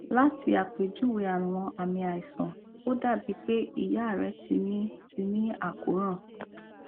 lati apejuwe awọn aami aisan o dabi pe iya rẹ ti ni ti ni akoran